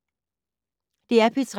DR P3